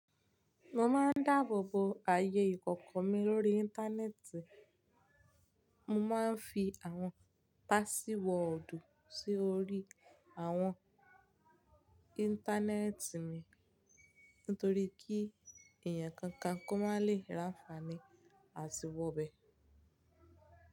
Mo máa ń dáàbò bo ayé ìkọ̀kọ̀ mi lórí Íńtánẹ́ẹ̀tì. Mo máa ń fi àwọn pásíwọ́ọ̀dù sí orí àwọn Íńtánẹ́ẹ̀tì mi, nítorí kí ẹ̀yàn kankan kó má lè ránfààní àti wọ bẹ.